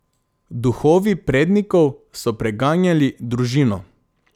Duhovi prednikov so preganjali družino.